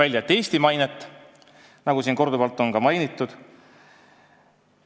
See tuli hiljem välja, nagu siin korduvalt on mainitud.